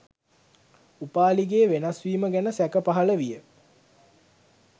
උපාලිගේ වෙනස්වීම ගැන සැක පහළ විය.